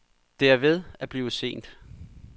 Det er ved at blive sent.